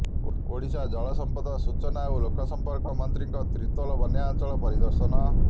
ଓଡ଼ିଶାର ଜଳସମ୍ପଦ ସୂଚନା ଓ ଲୋକସମ୍ପର୍କ ମନ୍ତ୍ରୀଙ୍କ ତିର୍ତ୍ତୋଲ ବନ୍ୟାଞ୍ଚଳ ପରିଦର୍ଶନ